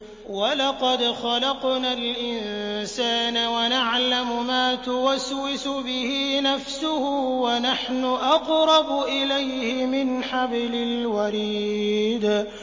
وَلَقَدْ خَلَقْنَا الْإِنسَانَ وَنَعْلَمُ مَا تُوَسْوِسُ بِهِ نَفْسُهُ ۖ وَنَحْنُ أَقْرَبُ إِلَيْهِ مِنْ حَبْلِ الْوَرِيدِ